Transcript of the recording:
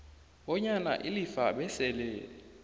bonyana ilifa besele